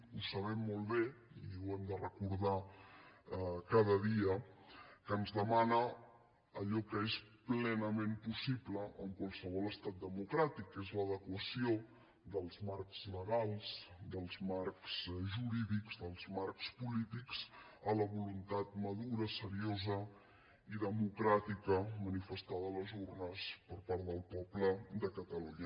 ho sabem molt bé i ho hem de recordar cada dia que ens demana allò que és plenament possible en qualsevol estat democràtic que és l’adequació dels marcs legals dels marcs jurídics dels marcs polítics a la voluntat madura seriosa i democràtica manifestada a les urnes per part del poble de catalunya